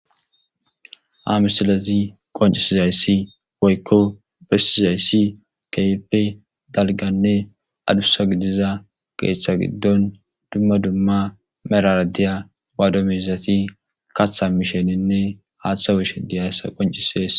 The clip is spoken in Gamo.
Ha misilazi qoncisizayssi woykko bessizayssi keype dalganne adusa giddiza keththa giddon dumma dumma meraradiya waado meizati kaththa misheninne haaththawushe diyayssa qoncisees